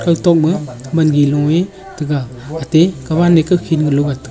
koitok ma wangi lung taga athe kawan kakhi lung ngan taga.